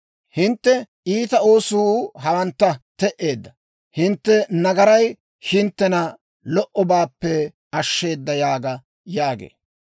Hintte iita oosuu hawantta te"eedda. Hintte nagaray hinttena lo"obaappe ashsheeda› yaaga» yaagee.